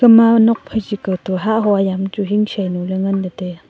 akhama nokphai chi kawtoh hah hua yam chu hing shainu ley ngan taiya.